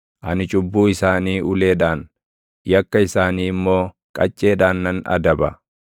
ani cubbuu isaanii uleedhaan, yakka isaanii immoo qacceedhaan nan adaba;